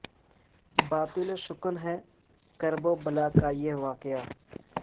باطل شکن ہے کرب و بلا کا یہ واقعہ